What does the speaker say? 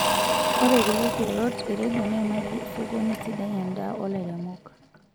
Ore kulie kirorot e rendio neimaki sokoni sidai endaa oo lairemok